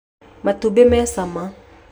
Matumbĩ me cama